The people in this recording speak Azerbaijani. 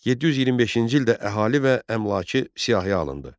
725-ci ildə əhali və əmlakı siyahıya alındı.